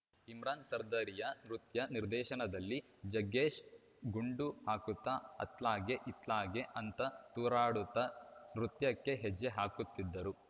ಇಮ್ರಾನ್‌ ಸರ್ದಾರಿಯಾ ನೃತ್ಯ ನಿರ್ದೇಶನದಲ್ಲಿ ಜಗ್ಗೇಶ್‌ ಗುಂಡು ಹಾಕುತ್ತಾಅತ್ಲಾಗೆ ಇತ್ಲಾಗೆ ಅಂತ ತೂರಾಡುತ್ತಾ ನೃತ್ಯಕ್ಕೆ ಹೆಜ್ಜೆ ಹಾಕುತ್ತಿದ್ದರು